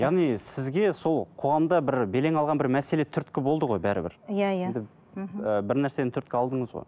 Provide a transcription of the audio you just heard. яғни сізге сол қоғамда бір белең алған бір мәселе түрткі болды ғой бәрібір иә иә енді мхм бір нәрсені түрткі алдыңыз ғой